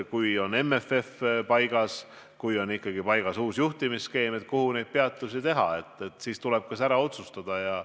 Kui MFF on paigas ja uus juhtimisskeem on paigas, siis tuleb ära otsustada, kuhu need peatused teha.